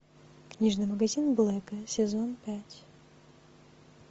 книжный магазин блэка сезон пять